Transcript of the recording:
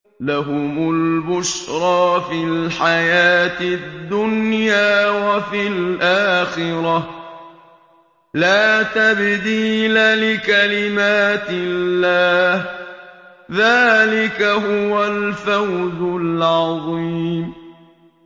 لَهُمُ الْبُشْرَىٰ فِي الْحَيَاةِ الدُّنْيَا وَفِي الْآخِرَةِ ۚ لَا تَبْدِيلَ لِكَلِمَاتِ اللَّهِ ۚ ذَٰلِكَ هُوَ الْفَوْزُ الْعَظِيمُ